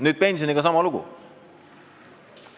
Nüüd on pensioniga sama lugu.